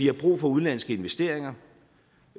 har brug for udenlandske investeringer